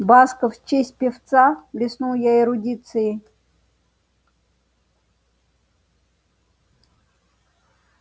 басков в честь певца блеснул я эрудицией